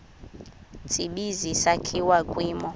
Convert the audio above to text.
tsibizi sakhiwa kwimo